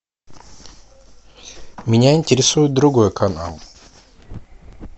меня интересует другой канал